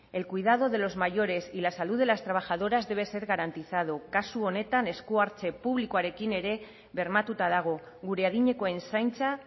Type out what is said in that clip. el cuidado de los mayores y la salud de las trabajadoras debe ser garantizado kasu honetan esku hartze publikoarekin ere bermatuta dago gure adinekoen zaintza